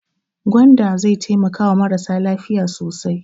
Gwanda zai taimakawa marasa lafiya sosai.